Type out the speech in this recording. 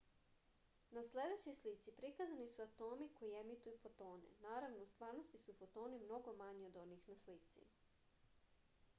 na sledećoj slici prikazani su atomi koji emituju fotone naravno u stvarnosti su fotoni mnogo manji od onih na slici